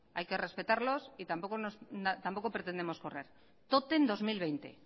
hay que respetarlos y tampoco pretendemos correr tótem dos mil veinte